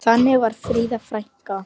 Þannig var Fríða frænka.